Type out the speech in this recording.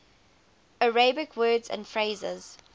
arabic words and phrases